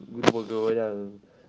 грубо говоря ээ